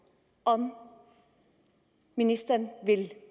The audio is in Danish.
om ministeren vil